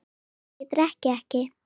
Svo að ég drekk ekki.